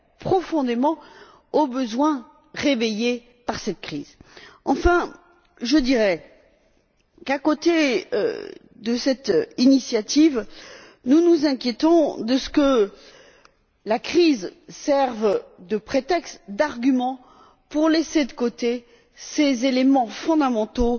profondément aux besoins que cette crise a ravivés. Enfin, je dirai qu'outre cette initiative, nous nous inquiétons de ce que la crise serve de prétexte ou d'argument pour laisser de côté ces éléments fondamentaux